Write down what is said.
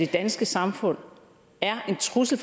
danske samfund er en trussel